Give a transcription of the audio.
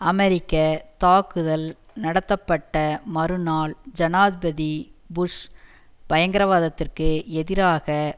அமெரிக்க தாக்குதல் நடத்தப்பட்ட மறுநாள் ஜனாதிபதி புஷ் பயங்கரவாதத்திற்கு எதிராக